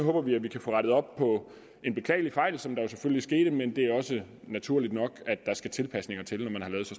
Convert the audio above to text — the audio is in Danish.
håber vi at vi kan få rettet op på en beklagelig fejl som skete men det er naturligt at der skal tilpasninger til